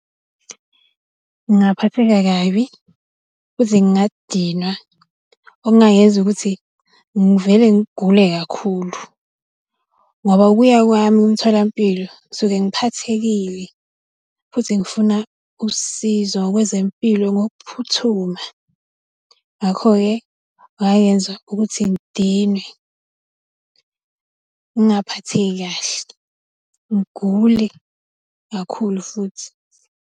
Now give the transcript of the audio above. Ngaphatheka kabi, futhi ngingadinwa okungangenza ukuthi ngivele ngigule kakhulu. Ngoba ukuya kwami emtholampilo ngisuke ngiphathekile futhi ngifuna usizo kwezempilo ngokuphuthuma. Ngakho-ke kungayenza ukuthi ngidinwe ngaphatheki kahle, ngigule, kakhulu futhi.